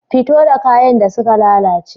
Fito da kayan da suka lalace.